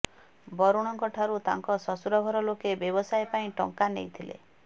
ବରୁଣଙ୍କଠାରୁ ତାଙ୍କ ଶ୍ୱଶୂର ଘର ଲୋକେ ବ୍ୟବସାୟ ପାଇଁ ଟଙ୍କା ନେଇଥିଲେ